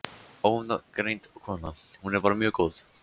Ónafngreind kona: Hún er bara mjög góð?